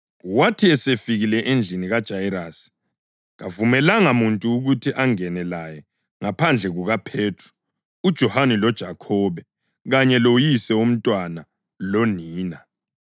Wathi esefikile endlini kaJayirasi, kavumelanga muntu ukuthi angene laye ngaphandle kukaPhethro, uJohane loJakhobe, kanye loyise womntwana lonina.